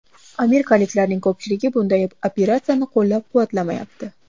Amerikaliklarning ko‘pchiligi bunday operatsiyani qo‘llab-quvvatlamayapti.